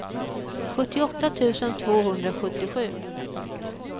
sjuttioåtta tusen tvåhundrasjuttiosju